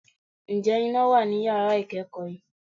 Ǹjẹ́ iná wà ní yàrá ìkẹ́kọ̀ọ́ yìí?